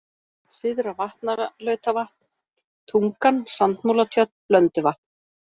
Syðra-Vatnalautavatn, Tungan, Sandmúlatjörn, Blönduvatn